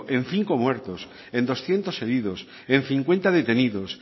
en cinco muertos en doscientos heridos en cincuenta detenidos